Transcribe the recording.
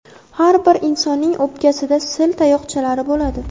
Har bir insonning o‘pkasida sil tayoqchalari bo‘ladi.